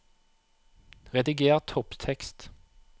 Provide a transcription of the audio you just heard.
Rediger topptekst